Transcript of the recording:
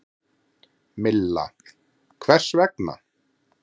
Milla: Hvers vegna?